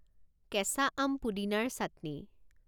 কেঁচা আম পুদিনাৰ চাটনি